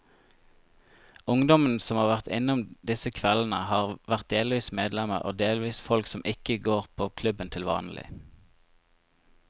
Ungdommene som har vært innom disse kveldene, har vært delvis medlemmer og delvis folk som ikke går på klubben til vanlig.